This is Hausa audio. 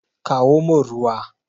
Kawo min ruwa!